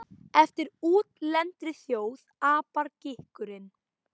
Eftir útlendri þjóð apar gikkurinn.